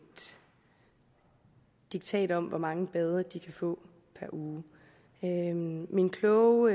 diktat om hvor mange bade de kan få per uge min kloge